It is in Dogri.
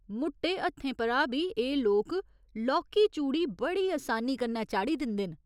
मुट्टे हत्थें परा बी एह् लोक लौह्की चूड़ी बड़ी असानी कन्नै चाढ़ी दिंदे न।